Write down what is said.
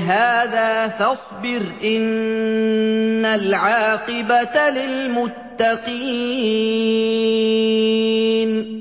هَٰذَا ۖ فَاصْبِرْ ۖ إِنَّ الْعَاقِبَةَ لِلْمُتَّقِينَ